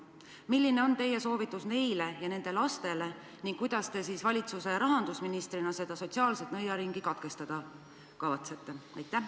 Milline on teie soovitus neile ja nende lastele ning kuidas te valitsuse rahandusministrina selle sotsiaalse nõiaringi katkestada kavatsete?